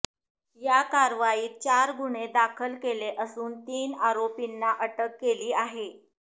या कारवाईत चार गुन्हे दाखल केले असून तीन आरोपींना अटक केली आहे